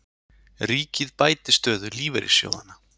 Ríkið bæti stöðu lífeyrissjóðanna